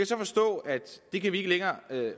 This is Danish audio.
så forstå at det kan vi ikke længere